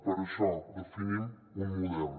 per això definim un model